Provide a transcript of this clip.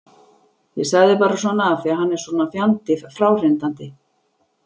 Ég sagði bara svona af því að hann er svo fjandi fráhrindandi.